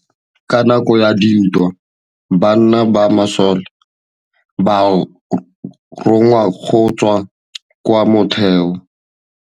Ka nakô ya dintwa banna ba masole ba rongwa go tswa kwa mothêô.